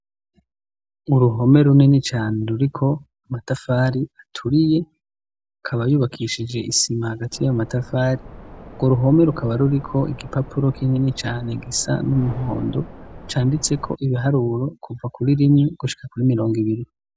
Uruhome runini cyane ruriko amatavari aturiye akaba yubakishije isima hagati y'amatafari Urwo ruhome rukaba ruriko igipapuro k'inini cane gisa n'umuhondo canditse ko ibiharuro kuva kuri rimwe gushika kuri mirongo ibiri.